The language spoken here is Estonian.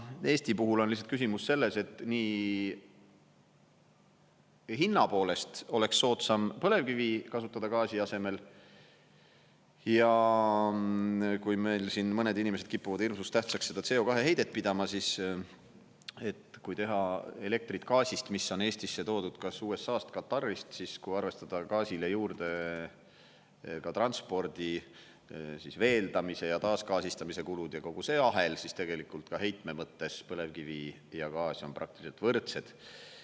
Eesti puhul on lihtsalt küsimus selles, et nii hinna poolest oleks soodsam põlevkivi kasutada gaasi asemel ja kui meil siin mõned inimesed kipuvad hirmus tähtsaks seda CO2 heidet pidama, siis kui teha elektrit gaasist, mis on Eestisse toodud kas USA-st, Katarist, siis kui arvestada gaasile juurde ka transpordi, veeldamise ja taasgaasistamise kulud ja kogu see ahel, siis tegelikult ka heitme mõttes põlevkivi ja gaas on praktiliselt võrdsed.